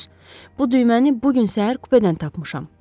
Bu düyməni bu gün səhər kupedən tapmışam.